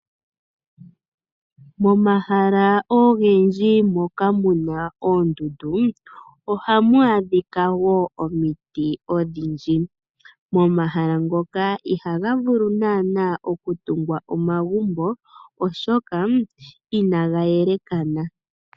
Momahala ogendji moka muna oondundu ohamu adhika wo omiti odhindji momahala moka ihaga vulu nana okutungwa omagumbo oshoka inaga yelekana.